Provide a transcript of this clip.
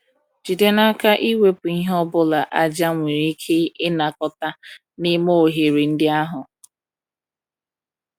Jide n'aka iwepụ ihe ọ bụla aja nwere ike ịnakọta n'ime oghere ndị ahụ.